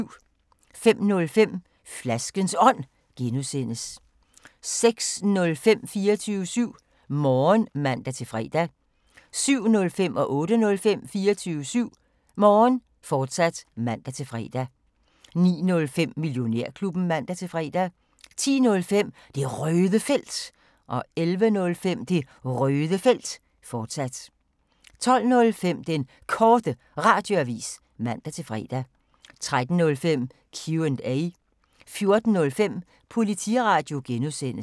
05:05: Flaskens Ånd (G) 06:05: 24syv Morgen (man-fre) 07:05: 24syv Morgen, fortsat (man-fre) 08:05: 24syv Morgen, fortsat (man-fre) 09:05: Millionærklubben (man-fre) 10:05: Det Røde Felt 11:05: Det Røde Felt, fortsat 12:05: Den Korte Radioavis (man-fre) 13:05: Q&A 14:05: Politiradio (G)